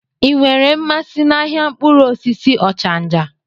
Ị nwere mmasị n'ahịa mkpụrụ osisi Ochanja?